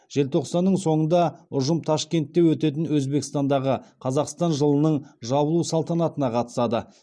желтоқсанның соңында ұжым ташкентте өтетін өзбекстандағы қазақстан жылының жабылу салтанатына қатысады